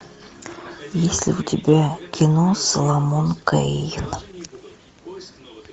есть ли у тебя кино соломон кейн